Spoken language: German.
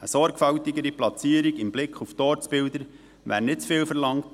Eine sorgfältigere Platzierung mit Blick auf die Ortsbilder wäre nicht zu viel verlangt.